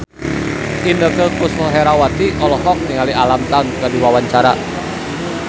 Inneke Koesherawati olohok ningali Alam Tam keur diwawancara